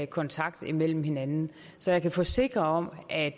kontakt med hinanden så jeg kan forsikre at